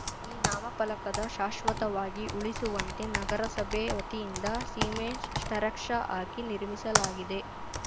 ಈ ನಾಮಫಲಕದ ಶಾಶ್ವತವಾಗಿ ಉಳಿಸುವಂತೆ ನಗರಸಭೆ ವತಿಯಿಂದ ಸಿಮೆಂಟ್‌ ಸ್ಟೆರಕ್ಷಾ ಹಾಕಿ ನಿರ್ಮಿಸಲಾಗಿದೆ